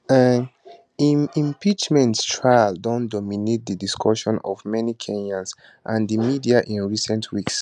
um im impeachment trial don dominate di discussions of many kenyans and di media in recent weeks